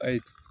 Ayi